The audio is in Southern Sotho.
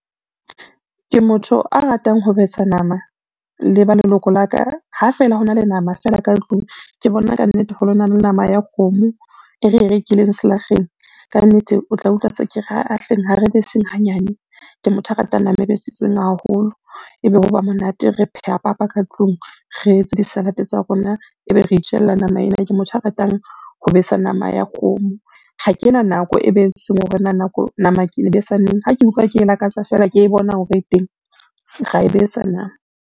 Ke motho a ratang ho besa nama le ba leloko la ka, ha feela ho na le nama fela ka tlung ke bona ka nnete hore ho na le nama ya kgomo e re e rekileng selakgeng, ka nnete o tla utlwa se ke re aa hleng, ha re be seng hanyane. Ke motho a ratang nama e besitsweng haholo, ebe ho ba monate re pheha papa ka tlung, re etse di-salad-e tsa rona, ebe re itjella nama ena, ke motho a ratang ho besa nama ya kgomo. Ha kena nako e behetsweng hore na nama ke e besa neng, ha ke utlwa ke lakatsa fela ke bona hore e teng ra e besa nama.